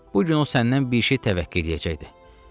Bu gün o səndən bir şey təvəqqə eləyəcəkdi.